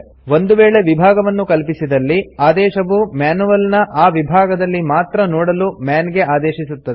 ಒಂದು ವೇಳೆ ವಿಭಾಗವನ್ನು ಕಲ್ಪಿಸಿದಲ್ಲಿ ಆದೇಶವು ಮ್ಯಾನ್ಯುಯಲ್ ನ ಆ ವಿಭಾಗದಲ್ಲಿ ಮಾತ್ರ ನೋಡಲು ಮನ್ ಗೆ ಆದೇಶಿಸುತ್ತದೆ